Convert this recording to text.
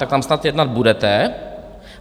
Tak tam snad jednat budete.